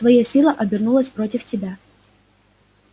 твоя сила обернулась против тебя